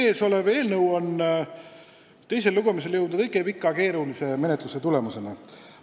Meie ees olev eelnõu on teisele lugemisele jõudnud õige pika ja keerulise menetluse tulemusena.